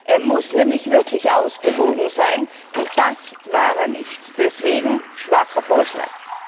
Er muss nämlich wirklich ausgewogen sein, und das war er nicht, deswegen schwacher Vorschlag.